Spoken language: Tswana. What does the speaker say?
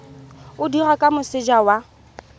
o dirwa kwa moseja wa